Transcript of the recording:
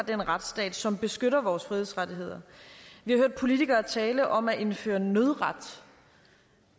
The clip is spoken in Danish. den retsstat som beskytter vores frihedsrettigheder vi har hørt politikere tale om at indføre nødret